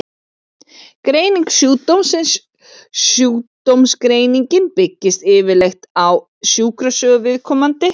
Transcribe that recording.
Greining sjúkdómsins Sjúkdómsgreiningin byggist yfirleitt á sjúkrasögu viðkomandi.